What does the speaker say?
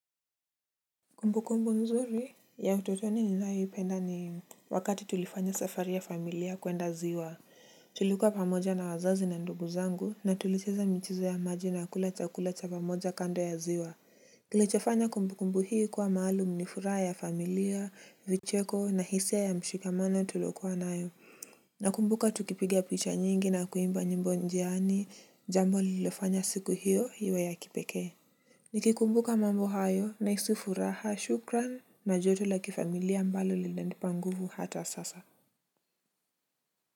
Kumbu kumbu nzuri ya utotoni ninaoyoipenda ni wakati tulifanya safari ya familia kuenda ziwa. Tulikuwa pamoja na wazazi na ndugu zangu na tulicheza michezo ya maji na kula chakula cha pamoja kando ya ziwa. Tulichofanya kumbu kumbu hii kuwa maalum ni furaha ya familia vicheko na hisia ya mshikamano tulokuwa nayo. Nakumbuka tukipigia picha nyingi na kuimba nyimbo njiani jambo lililofanya siku hiyo iwe ya kipekee. Nikikumbuka mambo hayo nahisi furaha shukran na joto la kifamilia ambalo linanipa nguvu hata sasa.